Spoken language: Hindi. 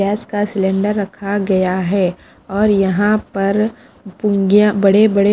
गैस का सिलेंडर रखा गया है और यहाँ पर पुं अ बड़े बड़े--